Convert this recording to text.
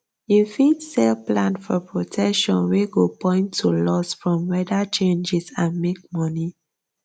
you fit sell plan for protection wey go point to loss from weather changes and make money